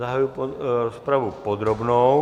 Zahajuji rozpravu podrobnou.